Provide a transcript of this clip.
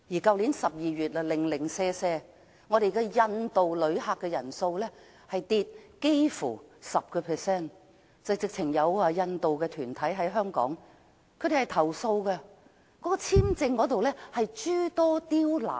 去年12月，只有印度的訪港旅客人數下跌差不多 10%， 有印度團體甚至投訴香港在簽證方面諸多刁難。